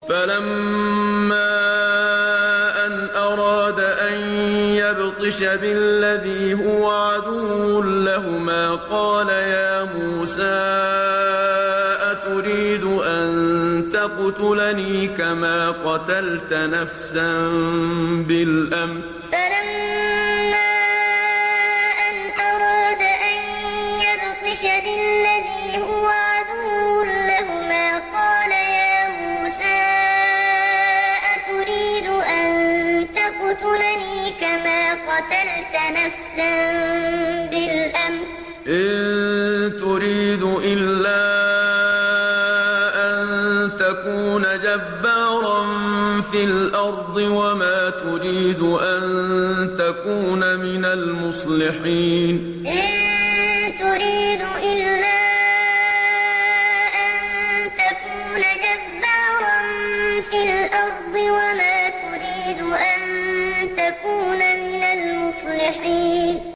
فَلَمَّا أَنْ أَرَادَ أَن يَبْطِشَ بِالَّذِي هُوَ عَدُوٌّ لَّهُمَا قَالَ يَا مُوسَىٰ أَتُرِيدُ أَن تَقْتُلَنِي كَمَا قَتَلْتَ نَفْسًا بِالْأَمْسِ ۖ إِن تُرِيدُ إِلَّا أَن تَكُونَ جَبَّارًا فِي الْأَرْضِ وَمَا تُرِيدُ أَن تَكُونَ مِنَ الْمُصْلِحِينَ فَلَمَّا أَنْ أَرَادَ أَن يَبْطِشَ بِالَّذِي هُوَ عَدُوٌّ لَّهُمَا قَالَ يَا مُوسَىٰ أَتُرِيدُ أَن تَقْتُلَنِي كَمَا قَتَلْتَ نَفْسًا بِالْأَمْسِ ۖ إِن تُرِيدُ إِلَّا أَن تَكُونَ جَبَّارًا فِي الْأَرْضِ وَمَا تُرِيدُ أَن تَكُونَ مِنَ الْمُصْلِحِينَ